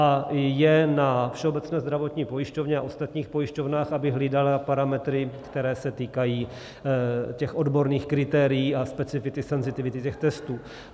A je na Všeobecné zdravotní pojišťovně a ostatních pojišťovnách, aby hlídaly parametry, které se týkají těch odborných kritérií a specifity, senzitivity těch testů.